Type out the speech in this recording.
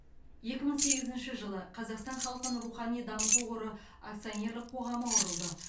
екі мың сегізінші жылы қазақстан халқын рухани дамыту қоры акционерлік қоғамы құрылды